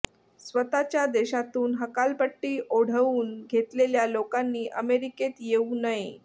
स्वतःच्या देशातून हकालपट्टी ओढवून घेतलेल्या लोकांनी अमेरिकेत येऊ नये